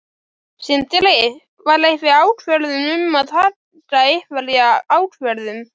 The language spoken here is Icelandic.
Sindri: Var einhver ákvörðun um að taka einhverja ákvörðun?